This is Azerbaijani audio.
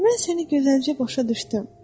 Mən səni gözəlcə başa düşdüm.